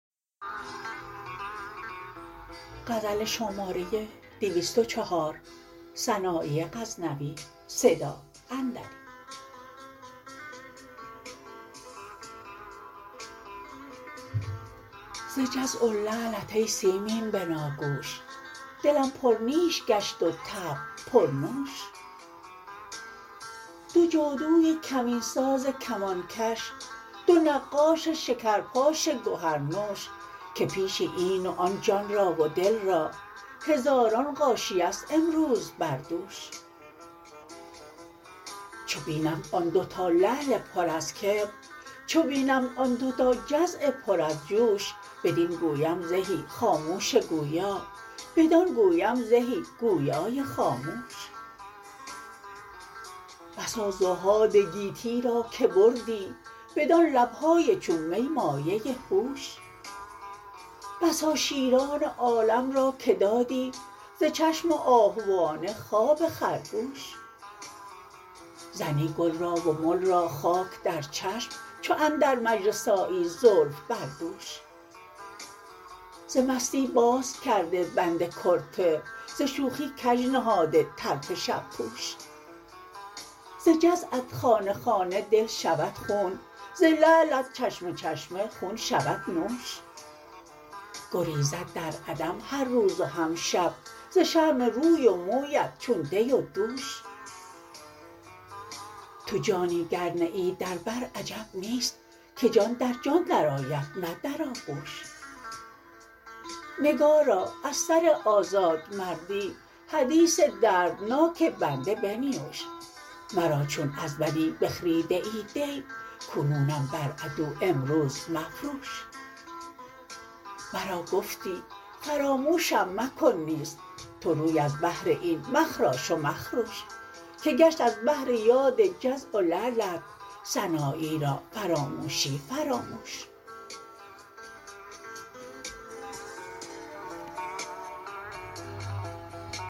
ز جزع و لعلت ای سیمین بناگوش دلم پر نیش گشت و طبع پر نوش دو جادوی کمین ساز کمان کش دو نقاش شکر پاش گوهر نوش که پیش این و آن جان را و دل را هزاران غاشیه ست امروز بر دوش چو بینمت آن دو تا لعل پر از کبر چو بینمت آن دو تا جزع پر از جوش بدین گویم زهی خاموش گویا بدان گویم زهی گویای خاموش بسا زهاد گیتی را که بردی بدان لب های چون می مایه هوش بسا شیران عالم را که دادی ز چشم آهوانه خواب خرگوش زنی گل را و مل را خاک در چشم چو اندر مجلس آیی زلف بر دوش ز مستی باز کرده بند کرته ز شوخی کج نهاده طرف شب پوش ز جزعت خانه خانه دل شود خون ز لعلت چشمه چشمه خون شود نوش گریزد در عدم هر روز و هم شب ز شرم روی و مویت چون دی و دوش تو جانی گر نه ای در بر عجب نیست که جان در جان در آید نه در آغوش نگارا از سر آزاد مردی حدیث دردناک بنده بنیوش مرا چون از ولی بخریده ای دی کنونم بر عدو امروز مفروش مرا گفتی فراموشم مکن نیز تو روی از بهر این مخراش و مخروش که گشت از بهر یاد جزع و لعلت سنایی را فراموشی فراموش